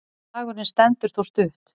Slagurinn stendur þó stutt.